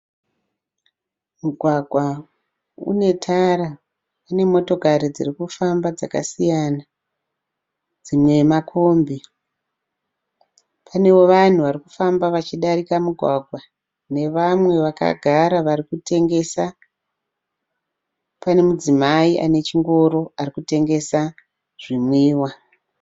Mugwagwa unetara, unemotokari dzirikufamba dzakasiyana. Dzimwe makombi. Panewo vanhu varikufamba vachidarika mugwagwa, nevamwe vakagara varikutengesa. Pane mudzimai anechingoro arikutengesa zvinwiwa.